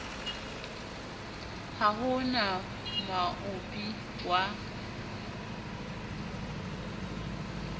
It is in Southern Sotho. ha ho na moabi wa